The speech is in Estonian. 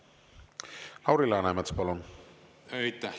Lauri Läänemets, palun!